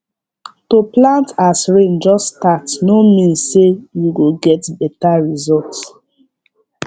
to plant as rain just start no mean say you go get better result